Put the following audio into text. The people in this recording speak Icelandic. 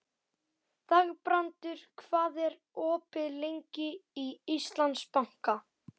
Þangbrandur, hvað er opið lengi í Íslandsbanka?